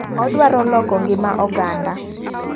Odwaro loko ng'ima oganda.